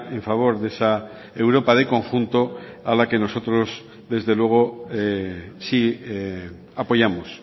en favor de esa europa de conjunto a la que nosotros desde luego sí apoyamos